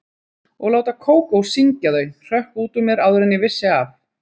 Og láta Kókó syngja þau hrökk út úr mér áður en ég vissi af.